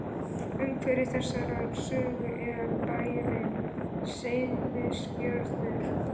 Umhverfi þessarar sögu er bærinn Seyðisfjörður.